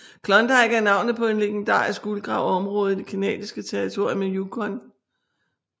Klondike er navnet på et legendarisk guldgraverområde i det canadiske territorium Yukon